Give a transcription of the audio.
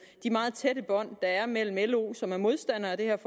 de meget tætte bånd der er mellem lo som er modstander af det her